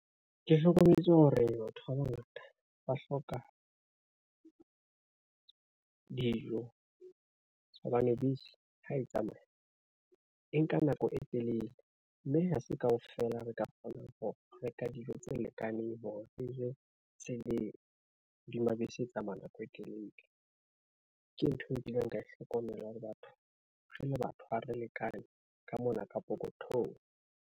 Ke hlokometse hore batho ba bangata ba hloka, dijo hobane bese ha e tsamaya e nka nako e telele. Mme ha se kaofela re ka kgonang ho reka dijo tse lekaneng hore re je tse le hodima bese e tsamaya nako e telele. Ke ntho e kileng ka e hlokomela le batho re le batho ha re lekane ka mona ka pokothong.